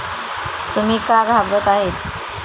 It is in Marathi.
तुम्ही का घाबरत आहेत?